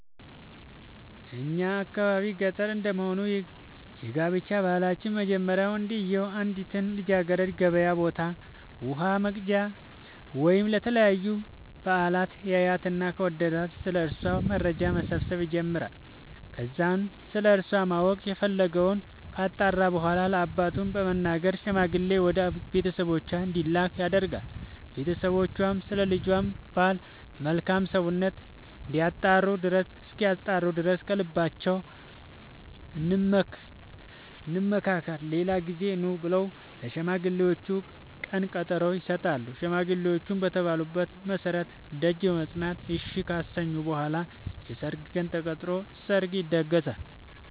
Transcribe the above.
በእኛ የአካባቢ ገጠር እንደመሆኑ የጋብቻ ባህላችን መጀመሪያ ወንድዬው አንዲትን ልጃገረድ ገበያ ቦታ ውሃ ወቅጃ ወይም ለተለያዩ በአላት ያያትና ከወደዳት ስለ እሷ መረጃ መሰብሰብ ይጀምራይ ከዛም ስለሷ ማወቅ የፈለገወን ካጣራ በኋላ ለአባቱ በመንገር ሽማግሌ ወደ ቤተሰቦቿ እንዲላክ ያደርጋል ቦተሰቦቿም ስለ ልጃቸው ባል መልካም ሰውነት እስኪያጣሩ ድረስ ከልባችን እንምከር ሌላ ጊዜ ኑ ብለው ለሽማግሌዎቹ ቀነቀጠሮ ይሰጣሉ ሽማግሌዎቹም በተባሉት መሠረት ደጅ በመፅና እሺ ካሰኙ በኋላ የሰርግ ቀን ተቆርጦ ሰርግ ይደገሳል።